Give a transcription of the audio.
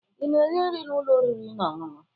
Ị na-eri nri na ụlọ oriri na ọṅụṅụ?